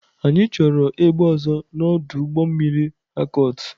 Anyị chọrọ egbe ọzọ na ọdụ ụgbọ mmiri Harcourt.